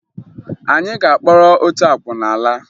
Anyị ga-akpọrọ otu akwụna laa